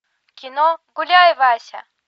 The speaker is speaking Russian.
кино гуляй вася